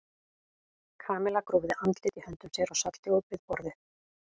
Kamilla grúfði andlitið í höndum sér og sat hljóð við borðið.